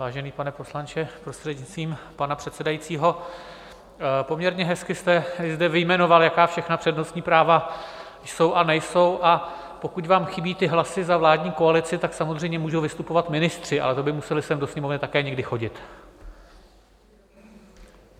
Vážený pane poslanče, prostřednictvím pana předsedajícího, poměrně hezky jste zde vyjmenoval, jaká všechna přednostní práva jsou a nejsou, a pokud vám chybí ty hlasy za vládní koalici, tak samozřejmě můžou vystupovat ministři, ale to by museli sem do Sněmovny také někdy chodit.